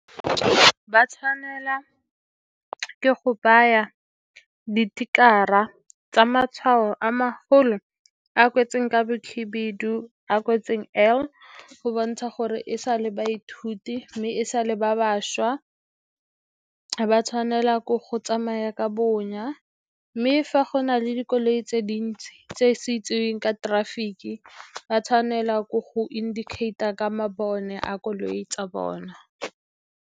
Ba tshwanela ke go baya ditikara tsa matshwao a magolo a kwetseng ka bo khibidu a kwetseng L go bontsha gore e sa le baithuti, mme e sa le ba ba šwa ga ba tshwanela go tsamaya ka bonya. Mme fa go na le dikoloi tse dintsi, tse se itseweng ka traffic-ke, ba tshwanetse ko go indicate-a ka mabone a koloi tsa bona.